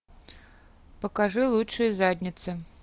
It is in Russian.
покажи лучшие задницы